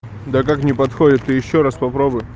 да как не подходит ты ещё раз попробуй